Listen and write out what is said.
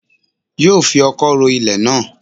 Yóò fi ọkọ́ ro ilẹ̀ náà